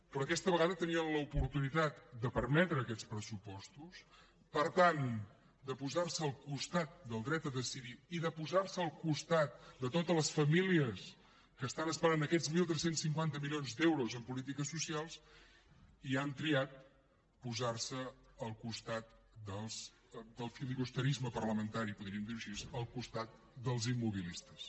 però aquesta vegada tenien l’oportunitat de permetre aquests pressupostos per tant de posar se al costat del dret a decidir i de posar se al costat de totes les famílies que esperen aquests tretze cinquanta milions d’euros en polítiques socials i han triat posar se al costat del filibusterisme parlamentari podríem dir ho així al costat dels immobilistes